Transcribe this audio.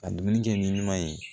Ka dumuni kɛ ni ɲuman ye